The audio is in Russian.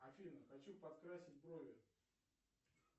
афина хочу подкрасить брови